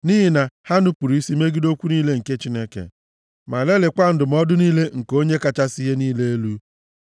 nʼihi na ha nupuru isi megide okwu niile nke Chineke ma lelikwaa ndụmọdụ niile nke Onye kachasị ihe niile elu.